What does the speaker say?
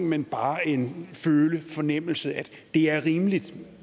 men bare en følelse en fornemmelse at det er rimeligt